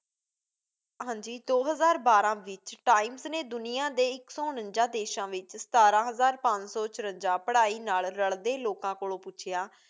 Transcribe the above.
ਹਾਂ ਜੀ ਦੋ ਹਜ਼ਾਰ ਬਾਰਾਂ ਵਿੱਚ times ਨੇ ਦੁਨੀਆ ਦੇ ਇੱਕ ਸੋਂ ਉਨੰਜ਼ਾ ਦੇਸਾਂ ਵਿੱਚ ਸਤਾਰਾਂ ਹਜ਼ਾਰ ਪੰਜ ਸੌ ਚੁਰੰਜ਼ਾ ਪੜ੍ਹਾਈ ਨਾਲ਼ ਰਲਦੇ ਲੋਕਾਂ ਕੋਲੋਂ ਪੁੱਛਿਆ